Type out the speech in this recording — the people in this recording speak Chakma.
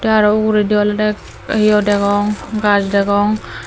aro ogurindi olay dey ye degong gaas degong.